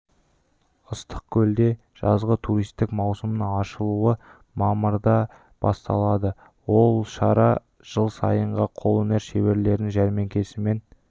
ыстық көлде жазғы туристік маусымның ашылуы мамырда басталады ол шара жыл сайынғы қол өнер шеберлерінің жәрмеңкесімен